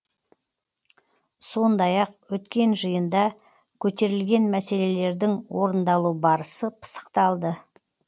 сондай ақ өткен жиында көтерілген мәселелердің орындалу барысы пысықталды